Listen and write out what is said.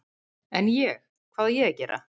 En, ég, hvað á ég að gera?